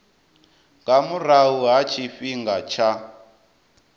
nga murahu ha tshifhinga tsha